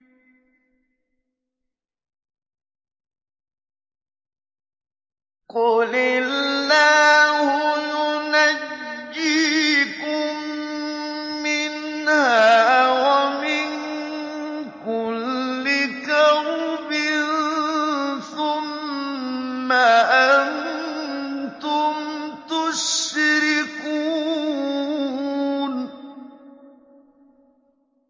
قُلِ اللَّهُ يُنَجِّيكُم مِّنْهَا وَمِن كُلِّ كَرْبٍ ثُمَّ أَنتُمْ تُشْرِكُونَ